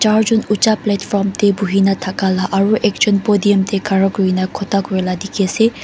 Char jun ucha platform teh buhina thaka la aro ekjun podium teh khara kuri kena kotha kuri la dekhi ase.